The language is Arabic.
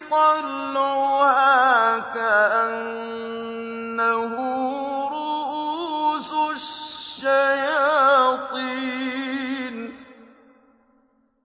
طَلْعُهَا كَأَنَّهُ رُءُوسُ الشَّيَاطِينِ